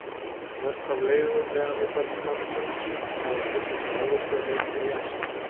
Mest af leifum neanderdalsmannsins hafa fundist í Evrópu en einnig í Asíu.